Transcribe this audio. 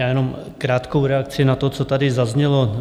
Já jenom krátkou reakci na to, co tady zaznělo.